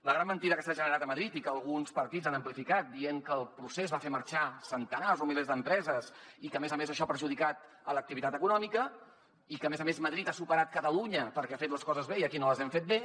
la gran mentida que s’ha generat a madrid i que alguns partits han amplificat dient que el procés va fer marxar centenars o milers d’empreses i que a més a més això ha perjudicat l’activitat econòmica i que a més a més madrid ha superat catalunya perquè ha fet les coses bé i aquí no les hem fet bé